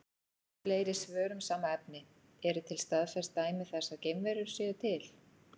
Fleiri svör um sama efni: Eru til staðfest dæmi þess að geimverur séu til?